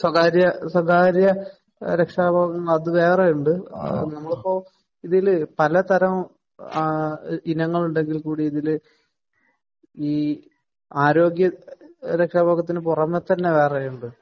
സ്വകാര്യ സ്വകാര്യ രക്ഷാബോധം അത് വേറെയുണ്ട്. നമ്മളിപ്പോ ഇതിൽ പല തരം ആ ഇനങ്ങൾ ഉണ്ടെങ്കിൽ കൂടി ഇതിൽ ഈ ആരോഗ്യ രക്ഷാബോധത്തിന് പുറമെ തന്നെ വേറെയുമുണ്ട്.